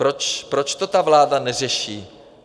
Proč to ta vláda neřeší?